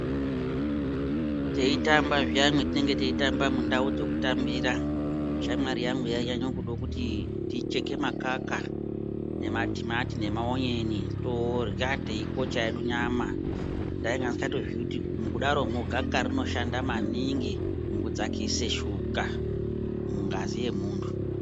Teitamba zviyani mwetinenge teitamba mundau dzokutambira shamwari yangu yainyanye kude kuti ticheke makaka nematimati nemaonyeni torya teikocha hedu nyama ndaingandizikatoziyi kuti gaka rinoshanda maningi mukudzakise shuka mungazi yemunhu.